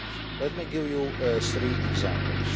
Let me give you three examples.